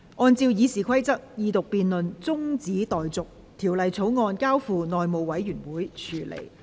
按照《議事規則》，二讀辯論中止待續，《條例草案》交付內務委員會處理。